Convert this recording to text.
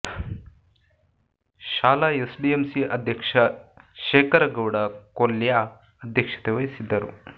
ಶಾಲಾ ಎಸ್ಡಿಎಂಸಿ ಅಧ್ಯಕ್ಷ ಶೇಖರ ಗೌಡ ಕೊಲ್ಯ ಅಧ್ಯಕ್ಷತೆ ವಹಿಸಿದ್ದರು